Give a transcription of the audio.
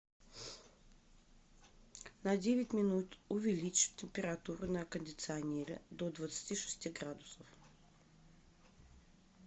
на девять минут увеличь температуру на кондиционере до двадцати шести градусов